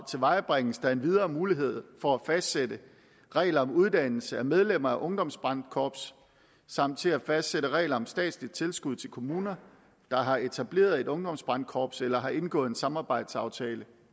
tilvejebringes der endvidere mulighed for at fastsætte regler om uddannelse af medlemmer af ungdomsbrandkorps samt til at fastsætte regler om statsligt tilskud til kommuner der har etableret et ungdomsbrandkorps eller har indgået en samarbejdsaftale